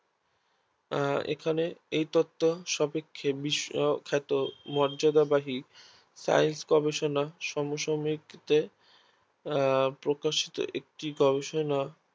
আহ এখানে এই তক্ত সাপেক্ষে বিশ্ব ক্ষেত মর্যাদা বাহি Science গবেষণা সমসাময়ীক দের আহ প্রকাশিত গবেষণা